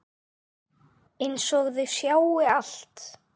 Einsog þau sjái allt.